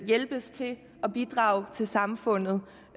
hjælpes til at bidrage til samfundet